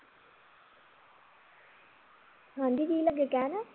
ਹਾਂਜੀ ਕੀ ਲੱਗੇ ਕਹਿਣ